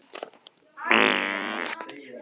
Hvert er markmið ykkar í sumar?